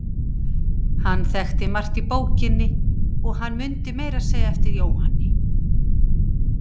Hann þekkti margt í bókinni og hann mundi meira að segja eftir Jóhanni